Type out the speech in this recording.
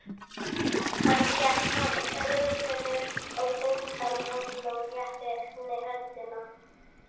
Hann gekk frá orðinu og undan ljósinu og rétti henni höndina.